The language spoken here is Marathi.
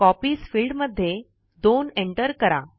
कॉपीज फिल्ड मध्ये 2 enter करा